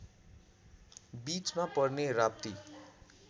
बीचमा पर्ने राप्ती